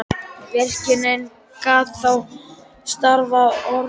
Virkjunin gat þá starfað ótrufluð á meðan.